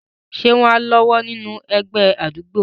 Ṣé wọ́n á lọ́wọ́ nínú àwọn ẹgbẹ́ àdúgbò?